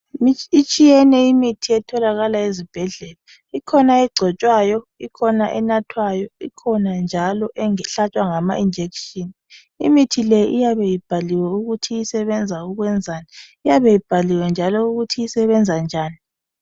Itshiyene imithi etholakala ezibhedlela ikhona egcotshwayo ikhona enathwayo ikhona njalo ehlatshwa ngamajekiseni imithi le iyabe ibhaliwe ukuthi isebenza ukwenzani iyabe ibhaliwe njalo ukuthi isebenza njani.